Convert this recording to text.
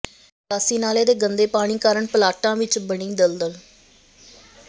ਨਿਕਾਸੀ ਨਾਲੇ ਦੇ ਗੰਦੇ ਪਾਣੀ ਕਾਰਨ ਪਲਾਟਾਂ ਵਿੱਚ ਬਣੀ ਦਲਦਲ